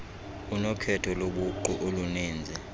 unokhetho lobuqu oluninzi